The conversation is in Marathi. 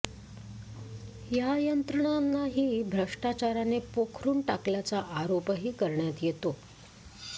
या यंत्रणांनाही भ्रष्टाचाराने पोखरून टाकल्याचा आरोपही करण्यात येतो